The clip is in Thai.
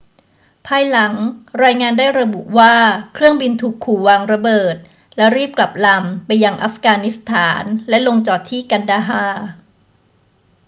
ภายหลัง รายงานได้ระบุว่าเครื่องบินถูกขู่วางระเบิด และรีบกลับลำไปยังอัฟกานิสถานและลงจอดที่กันดาฮาร์